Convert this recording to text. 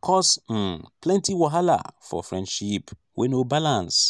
cause um plenty wahala for friendship wey no balance.